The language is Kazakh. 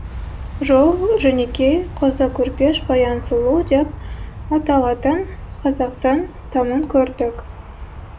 жол жөнекей қозы көрпеш баян сұлу деп аталатын қазақтың тамын көрдік